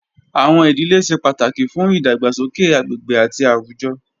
Awọn idile ṣe pataki fun idagbasoke agbegbe ati awujọ